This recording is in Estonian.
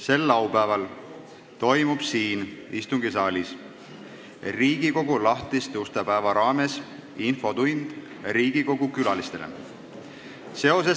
Sel laupäeval toimub siin istungisaalis Riigikogu lahtiste uste päeva raames infotund Riigikogu külalistele.